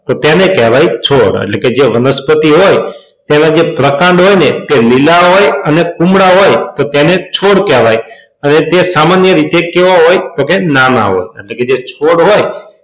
તેને કહેવાય છોડ એટલે કે જે વનસ્પતિ હોય તેના જે પ્રકાંડ હોય ને તે લીલા હોય અને કુમળા હોય તો તેને છોડ કહેવાય અને તે સામાન્ય રીતે કેવા હોય તો કે ના ના હોય. એટલે કે જે છોડ હોય,